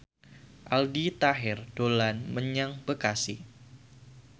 Aldi Taher dolan menyang Bekasi